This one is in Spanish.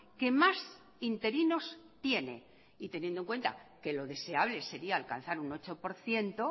que más interinos tiene y teniendo en cuenta que lo deseable sería alcanzar un ocho por ciento